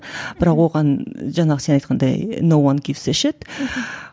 бірақ оған жаңағы сен айтқандай мхм